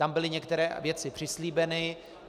Tam byly některé věci přislíbeny.